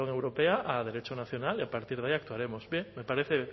perdón europea a derecho nacional y a partir de ahí actuaremos bien